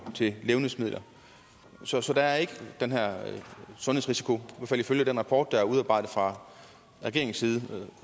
til levnedsmidler så så der er ikke den her sundhedsrisiko i ifølge den rapport der er udarbejdet fra regeringens side